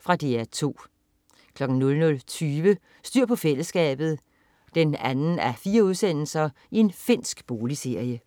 Fra DR 2 00.20 Styr på fællesskabet 2:4. Finsk boligserie